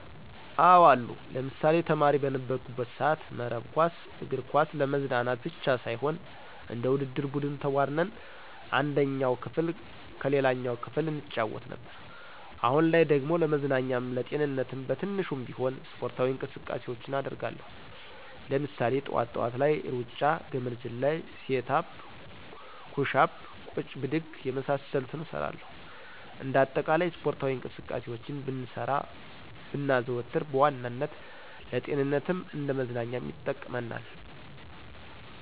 አዎ አሉ። ለምሳሌ፦ ተማሪ በነበርኩበት ሰአት መረብ ኳስ፣ እግር ኳስ ለመዝናናት ብቻ ሳይሆን እንደ ውድድር ቡድን ተቧድነን አንደኛው ክፍል ከሌላኛው ክፍል እንጫወት ነበር። አሁን ላይ ደግሞ ለመዝናኛም ለጤንነትም በትንሹም ቢሆን ስፖርታዊ እንቅስቃሴውችን አደርጋለው። ለምሳሌ፦ ጥዋት ጥዋት ላይ ሩጫ፣ ገመድ ዝላይ፣ ሴት አፕ፣ ኩሽ አፕ፣ ቁጭ ብድግ የመሳሰሉትን እሰራለሁኝ። እንደ አጠቃላይ ስፖርታዊ እንቅስቃሴውችን ብንሰራ ብናዘወትር በዋናነት ለጤንነትም እንደ መዝናኛም ይጠቅመናል።